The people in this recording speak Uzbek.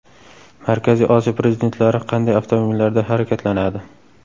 Markaziy Osiyo prezidentlari qanday avtomobillarda harakatlanadi?